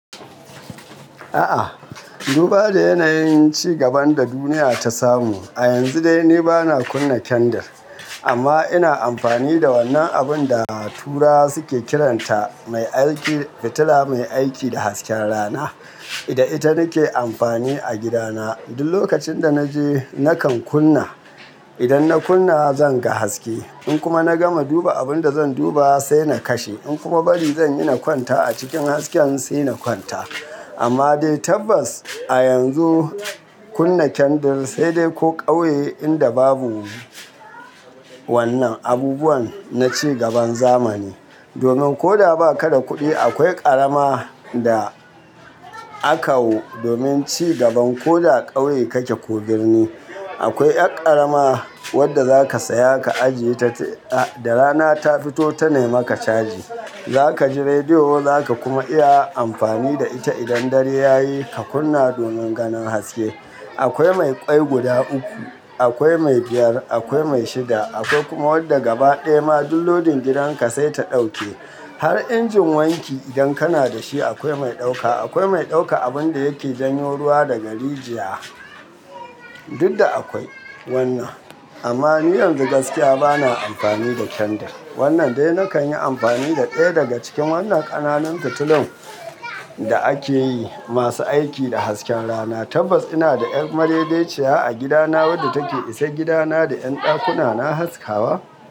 A'a, duba da yanayin ci gaban da duniya ta samu a yanzu dai ni bana kunna kendir. Amma ina amfani da wannan abun da turawa suke kiranta mai aiki fitila mai aiki da hasken rana. Ida ita nake amfani a gidana. Duk lokacin da na je nakan kunna, idan na kunna zan ga haske. In kuma na gama duba abun da zan duba sai na kashe. In kuma bari zan yi na kwanta a cikin hasken sai na kwanta. Amma dai tabbas a yanzu kunna kendal sai dai ko ƙauye inda babu wannan abubuwan na ci gaban zamani. Domin ko da ba ka da kuɗi akwai ƙarama da akawo domin ci gaban ko da ƙauye kake ko birni. Akwai ƴar ƙarama wadda za ka saya ka ajiye ta da rana ta fito tana maka caji. Za ka ji rediyo za ka kuma iya amfani da ita idan dare ya yi ka kunna domin ganin haske. Akwai mai ƙwai guda uku, akwai mai biyar, akwai mai shida, akwai kuma wadda gaba ɗaya ma duk lodin gidanka sai ta ɗauke. Har injin wanki idan kana da shi akwai mai ɗauka. Akwai mai ɗauka abun da yake janyo ruwa daga rijiya, duk da akwai wannan. Amma niyan zu gaskiya bana amfani da kendir. Wannan dai nakan yi amfani da ɗaya daga cikin wannan ƙananan fitulun da ake yi masu aiki da hasken rana. Tabbas ina da ƴar madedeciya a gidana wadda take isar gidana da ƴan ɗakuna na haskawa.